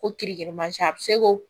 Ko kirikirimasiɲɛ a bɛ se k'o